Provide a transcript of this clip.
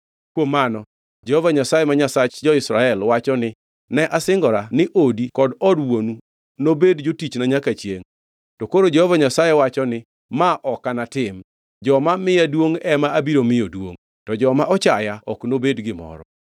“Kuom mano Jehova Nyasaye ma Nyasach jo-Israel wacho ni, ‘Ne asingora ni odi kod od wuonu nobed jotichna nyaka chiengʼ.’ To koro Jehova Nyasaye wacho ni, ‘Ma ok anatim! Joma miya duongʼ ema abiro miyo duongʼ, to joma ochaya ok nobed gimoro.